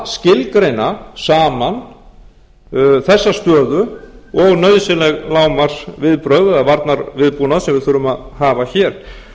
að skilgreina saman þessa stöðu og nauðsynleg lágmarksviðbrögð eða varnarviðbúnað sem við þurfum að hafa hér